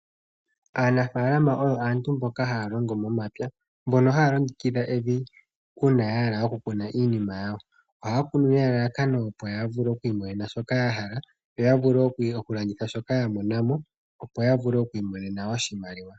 Aanafaalama oyo aantu mboka ha ya longo momapya, mbono ha ya longekidha evi uuna ya hala okukuna iinima yawo. Oha ya kunu nelalakano opo ya vule oku imonena shoka ya hala yo ya vule okulanditha shoka ya monamo opo ya vule oku imonena oshimaliwa.